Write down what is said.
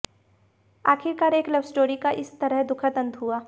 आखिरकार एक लवस्टोरी का इस तरह दुखद अंत हुआ